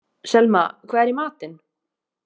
Selma, hvað er í matinn?